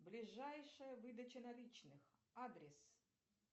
ближайшая выдача наличных адрес